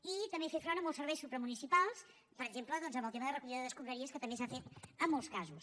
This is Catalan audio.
i també fer front a molts serveis supramunicipals per exemple en el tema de recollida d’escombraries que també s’ha fet en molts casos